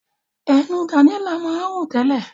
Ẹnu Daniella máa ń rùn tẹ́lẹ̀.